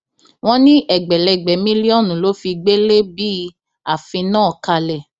wọn ní ẹgbẹlẹgbẹ mílíọnù ló fi gbélé bíi àfin náà kalẹ